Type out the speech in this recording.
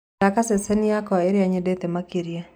thaka ceceni yakwaĩrĩa nyendete makĩrĩa